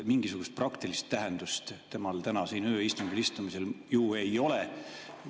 Mingisugust praktilist tähtsust tema istumisel siin tänasel ööistungil ju ei ole.